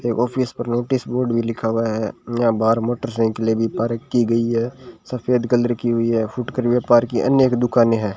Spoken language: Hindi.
एक ऑफिस पर नोटिस बोर्ड भी लिखा हुआ है यहां बाहर मोटरसाइकिले भी पार्क की गई है सफेद कलर की हुई है फुटकर व्यापार अन्य एक दुकाने है।